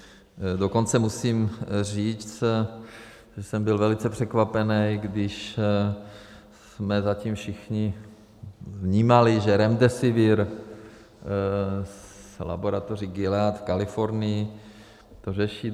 Dokonce musím říct, že jsem byl velice překvapený, když jsme zatím všichni vnímali, že Remdesivir z laboratoří Gilead v Kalifornii to řeší.